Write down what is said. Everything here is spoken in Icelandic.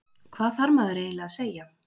Hvað þarf maður eiginlega að segja?